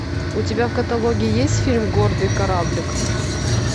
у тебя в каталоге есть фильм гордый кораблик